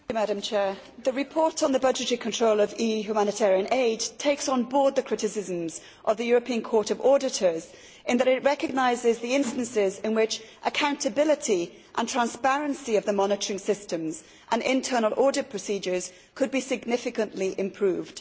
Madam President, the report on the budgetary control of EU humanitarian aid takes on board the criticisms of the European Court of Auditors in that it recognises the instances in which accountability and transparency of the monitoring systems and internal audit procedures could be significantly improved.